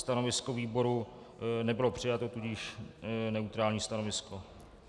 Stanovisko výboru nebylo přijato, tudíž neutrální stanovisko.